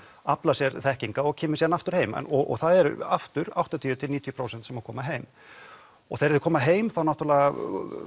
aflar sér þekkingar og kemur síðan aftur heim og það er aftur áttatíu til níutíu prósent sem koma heim og þegar þeir koma heim þá náttúrulega